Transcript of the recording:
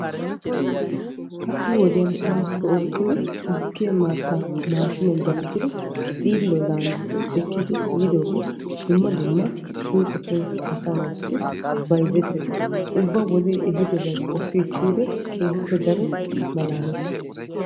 Ha'i wodiyan waatiko oottidi gukkiya maata maashshinniya gelissiddi xiilliyaw laamissi ekkidi yiidooge dumma dumma suuqetubn asaa naatussi bayzzettees, ubba wodee ehiidobay qopi ekkiyoode keehippe malaalees.